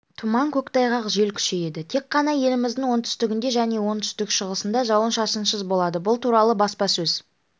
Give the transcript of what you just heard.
тұман көктайғақ жел күшейеді тек қана еліміздің оңтүстігінде және оңтүстік-шығысында жауын-шашынсыз болады бұл туралы баспасөз